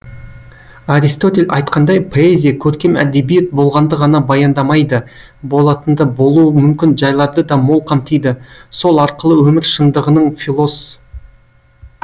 аристотель айтқандай поэзия көркем әдебиет болғанды ғана баяндамайды болатынды болуы мүмкін жайларды да мол қамтиды сол арқылы өмір шындығының филос